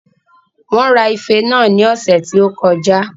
Wón ra ife náà ní ọ̀sẹ̀ tí ó kọjá